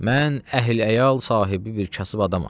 Mən əhl-əyal sahibi bir kasıb adamam.